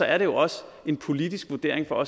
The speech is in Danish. er det også en politisk vurdering for